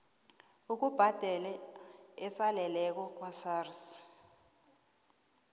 ukubhadela esaleleko kwasars